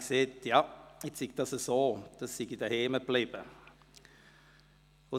Ich sagte dann, es sei nun so, dass der Käse zu Hause geblieben sei.